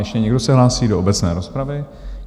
Ještě se někdo hlásí do obecné rozpravy?